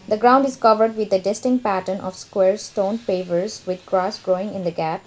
the ground is covered with a distinct pattern of square stone pavers with grass growing in the gaps.